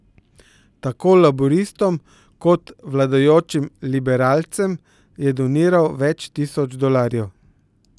Tako laburistom kot vladajočim liberalcem je doniral več tisoč dolarjev.